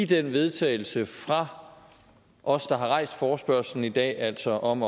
til vedtagelse fra os der har rejst forespørgslen i dag altså om